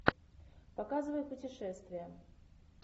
показывай путешествия